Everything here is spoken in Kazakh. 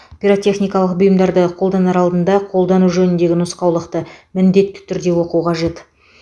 пиротехникалық бұйымдарды қолданар алдында қолдану жөніндегі нұсқаулықты міндетті түрде оқу қажет